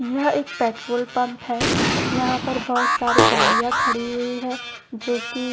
यह एक petrol pump है यहां पर बहुत सारी गाड़ियां खड़ी हुई है जो कि